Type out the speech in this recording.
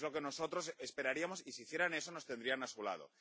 Es lo que nosotros esperaríamos, y si hicieran eso, nos tendrían a su lado.